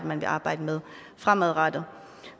man vil arbejde med fremadrettet